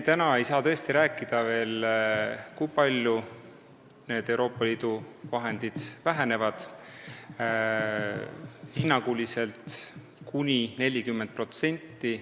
Täna ei saa me tõesti veel rääkida, kui palju Euroopa Liidu vahendid vähenevad, hinnanguliselt on see kuni 40%.